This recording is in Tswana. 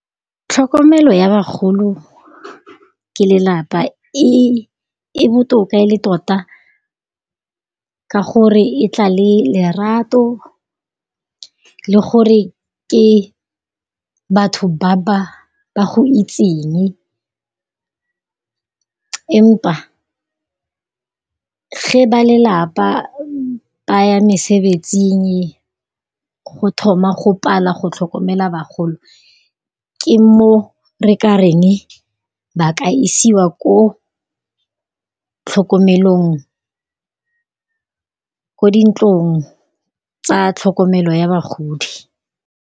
Tlhokomelo ya bagolo ke lelapa, e botoka e le tota ka gore e tla le lerato le gore ke batho ba ba go itseng empa ge ba lelapa ba ya mesebetsing go thoma go pala go tlhokomela bagolo ke mo re ka reng ba ka isiwa ko tlhokomelong, ko dintlong tsa tlhokomelo ya bagodi.